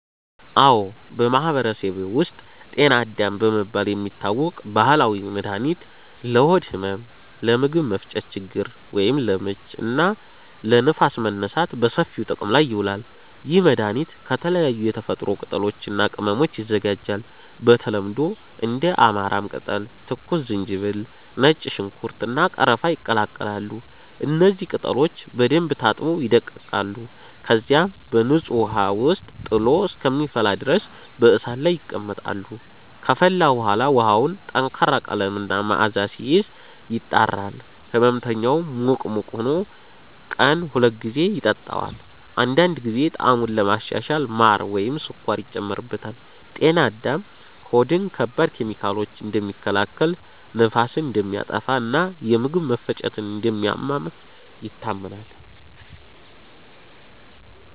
አዎ፣ በማህበረሰቤ ውስጥ “ጤና አዳም” በመባል የሚታወቅ ባህላዊ መድኃኒት ለሆድ ህመም፣ ለምግብ መፈጨት ችግር (ለምች) እና ለንፋስ መነሳት በሰፊው ጥቅም ላይ ይውላል። ይህ መድኃኒት ከተለያዩ የተፈጥሮ ቅጠሎች እና ቅመሞች ይዘጋጃል። በተለምዶ እንደ አማራም ቅጠል፣ ትኩስ ዝንጅብል፣ ነጭ ሽንኩርት፣ እና ቀረፋ ይቀላቀላሉ። እነዚህ ቅጠሎች በደንብ ታጥበው ይደቀቃሉ፣ ከዚያም በንጹህ ውሃ ውስጥ ጥሎ እስከሚፈላ ድረስ በእሳት ላይ ይቀመጣሉ። ከፈላ በኋላ ውሃው ጠንካራ ቀለም እና መዓዛ ሲይዝ፣ ይጣራል። ሕመምተኛው ሙቅ ሙቅ ሆኖ ቀን ሁለት ጊዜ ይጠጣዋል። አንዳንድ ጊዜ ጣዕሙን ለማሻሻል ማር ወይም ስኳር ይጨመርበታል። “ጤና አዳም” ሆድን ከባድ ኬሚካሎች እንደሚከላከል፣ ንፋስን እንደሚያጠፋ እና የምግብ መፈጨትን እንደሚያመቻች ይታመናል።